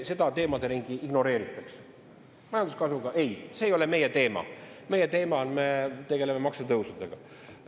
Seda teemaderingi ignoreeritakse – ei, see ei ole meie teema, me tegeleme maksutõusudega.